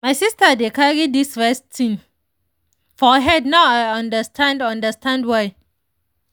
my sister dey carry this rest thing for head now i understand understand why.